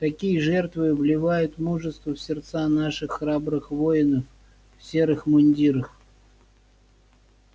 такие жертвы вливают мужество в сердца наших храбрых воинов в серых мундирах